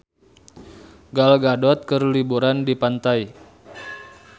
Gal Gadot keur liburan di pantai